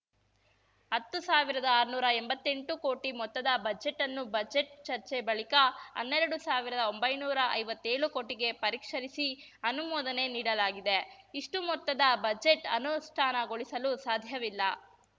ಹತ್ತು ಸಾವಿರ್ದಾಆರ್ನೂರಾ ಎಂಬತ್ತೆಂಟು ಕೋಟಿ ಮೊತ್ತದ ಬಜೆಟ್‌ನ್ನು ಬಜೆಟ್‌ ಚರ್ಚೆ ಬಳಿಕ ಹನ್ನೆರಡು ಸಾವಿರ್ದಾಒಂಬೈನೂರಾ ಐವತ್ತೇಳು ಕೋಟಿಗೆ ಪರಿಷ್ಕರಿಸಿ ಅನುಮೋದನೆ ನೀಡಲಾಗಿದೆ ಇಷ್ಟುಮೊತ್ತದ ಬಜೆಟ್‌ ಅನುಷ್ಠಾನಗೊಳಿಸಲು ಸಾಧ್ಯವಿಲ್ಲ